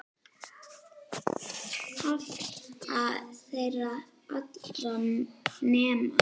Afla þeirra allra nema